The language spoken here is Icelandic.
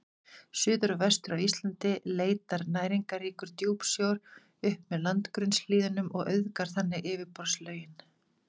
Suður og vestur af Íslandi leitar næringarríkur djúpsjór upp með landgrunnshlíðunum og auðgar þannig yfirborðslögin.